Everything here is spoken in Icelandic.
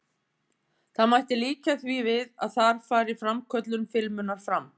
Það mætti líkja því við að þar fari framköllun filmunnar fram.